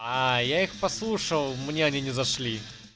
аа я их послушал мне они не зашли